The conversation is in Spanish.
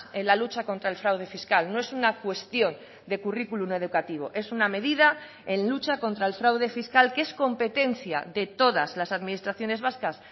en la lucha contra el fraude fiscal no es una cuestión de currículum educativo es una medida en lucha contra el fraude fiscal que es competencia de todas las administraciones vascas